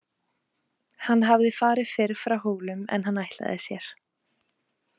Hann hafði farið fyrr frá Hólum en hann ætlaði sér.